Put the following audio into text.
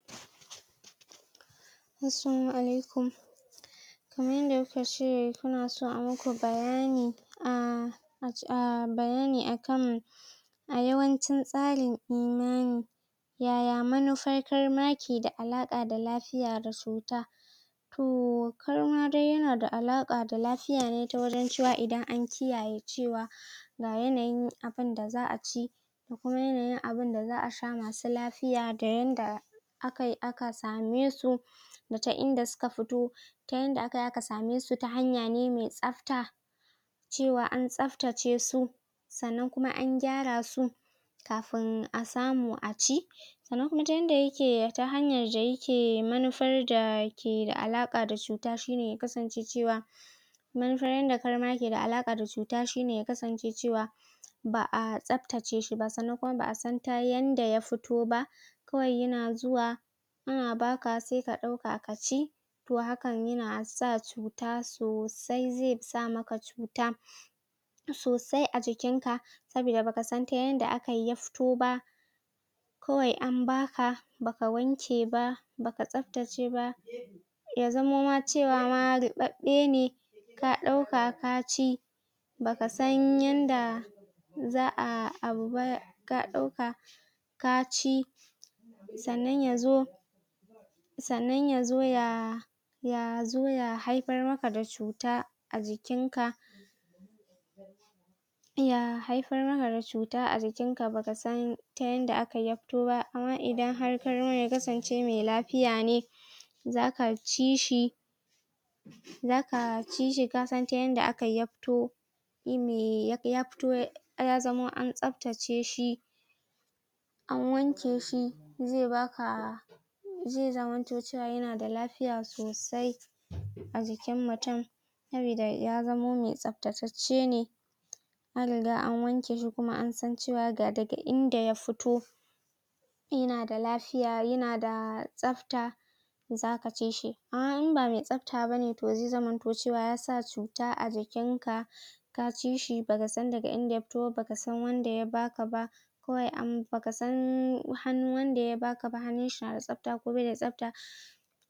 Assalamu alaikum kaman yadda kukace kuna inyi muku bayani a bayani akan a yawancin tsarin imani yaya mafitar kai maki da alaƙa da lafiya da cuta. To karma dai yana alaƙa da lafiya ne ta wajen cewa idan an kiyaye cewa ga yanayin abinda za a ci kuma yanayin abinda za a sha masu lafiya da yanda akai aka samesu da ta inda suka fito, ta inda akayi aka samesu ta hanya ne mai tsafta cewa an tsaftace su sannan kuma an gyara su kafin asamu aci. Sanan kuma ta yadda yake ta hanyan dai ke manufar da ke da alaƙa da cuta shine ya kasance cewa manufar yadda karma yake da alaƙa da cuta shine ya kasance cewa ba a tsaftace shi ba sannan kuma ba a san ta yanda ya fito ba. Kawai yana zuwa ana baka se ka ɗauka ka ci to hakan yana sa cuta sosai, ze sama ka cuta sosai a jikinka sabida ba ka san da yadda akayi ya fito ba. Kawai an baka baka wanke ba, baka tsaftace ba, ya zamo cewa ruɓaɓɓe ne ka ɗauka ka ci, ba ka san yanda za a abuba ka ɗauka ka ci sannan yazo sannan yazo ya haifar maka da cuta ajikinka, ya haifar maka da cuta ajikinka ba ka san ta yanda akayi ya fito ba. Amma idan har karman ya kasance mai lafiya ne zaka ci shi, zaka ci shi ka san ta yadda akayi ya fito, yime ya fito, ya zamo an tsaftace shi, an wanke shi, ze baka, ze zama cewa yana da lafiya sosai a jikin mutum sabida ya zamo mai tsafta ceccene, an riga an wanke shi kuma an san cewa ga daga inda ya fito yana da lafiya yana da tsafta. Zaka ci shi a in ba mai tsafta bane ze zamanto cewa yasa cuta ajikinka, ka ci shi ba ka san daga inda ya fito ba, ba ka san wanda ya baka ba, ko wai ba ka san hannun wanda ya baka ba, hannunshi nada tsafta ko ba da tsafta.